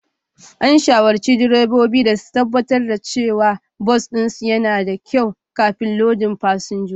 An shawarci direbobi da su tabbatar da cewa bas ɗinsu yana da kyau kafin lodin fasinjoji